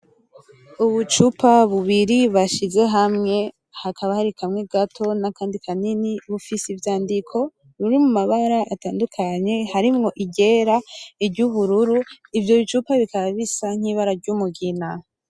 Ubucupa bubiri bashize hamwe hakaba hari kamwe gato nakandi kanini, bufise ivyandiko biri mu mabara atandukanye harimwo iryera, iryubururu ivyo bicupa bikaba bisa nk'ibara ryumugina.